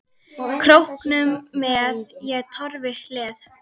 Króknum með ég torfi hleð.